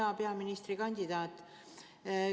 Hea peaministrikandidaat!